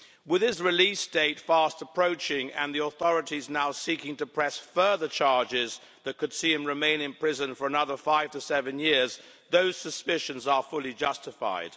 With his release date fast approaching and the authorities now seeking to press further charges that could see him remain in prison for another five to seven years, those suspicions are fully justified.